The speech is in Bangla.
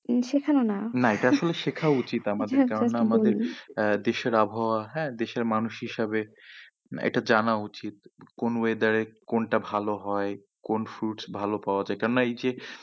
শেখানো না না এটা আসলে শেখা উচিত আমাদের কারণ না আমাদের আহ দেশের আবহাওয়া হ্যাঁ দেশের মানুষ হিসাবে না এটা জানা উচিত কোন weather এ কোনটা ভালো হয় কোন fruits ভালো পাওয়া যাই কেন না এই যে